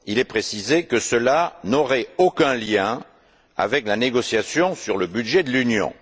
Il est précisé que cela n'aurait aucun lien avec la négociation sur le budget de l'Union.